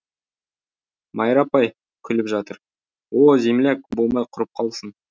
майра апай күліп жатыр о земляк болмай құрып қалсын